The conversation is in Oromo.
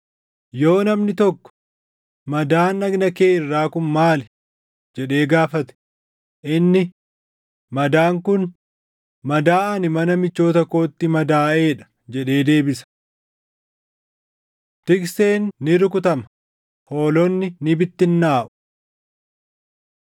Yoo namni tokko, ‘Madaan dhagna kee irraa kun maali?’ jedhee gaafate, inni, ‘Madaan kun madaa ani mana michoota kootti madaaʼee dha’ jedhee deebisa. Tikseen Ni Rukutama, Hoolonni ni Bittinnaaʼu